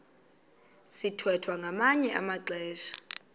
sithwethwa ngamanye amaxesha